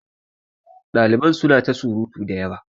Daliban suna ta surutu da yawa.